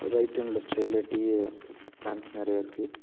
Right and left சைடுல tea a plants நெறையா இருக்கு.